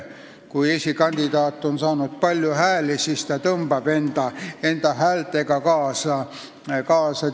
Kui esikandidaat on saanud palju hääli, siis ta tõmbab enda häältega teisi kaasa.